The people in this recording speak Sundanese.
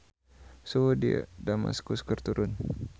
Suhu di Damaskus keur turun